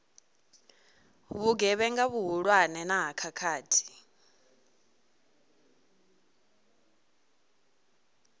vhugevhenga vhuhulwane na ha khakhathi